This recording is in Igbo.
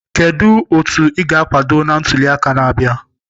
Kedu otu ị ga-akwado na ntuli aka na-abịa?